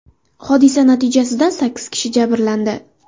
Hodisa natijasida sakkiz kishi jabrlandi.